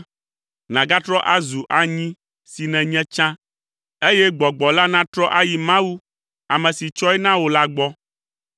nàgatrɔ azu anyi si nènye tsã eye gbɔgbɔ la natrɔ ayi Mawu, ame si tsɔe na wò la gbɔ.